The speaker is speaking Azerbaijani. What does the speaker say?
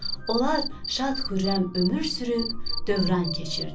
Onlar şad-xürrəm ömür sürüb dövran keçirdilər.